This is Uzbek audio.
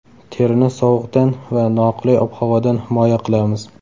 Terini sovuqdan va noqulay ob-havodan himoya qilamiz.